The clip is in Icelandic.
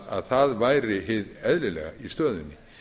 að það væri hið eðlilega í stöðunni